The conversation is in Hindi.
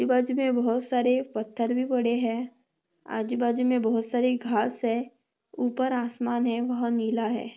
आजूबाजुमे बहुत सारे पथर भी पड़े है। आजूबाजुमे बहुत सारी घास है। उपर आसमान है वह नीला है।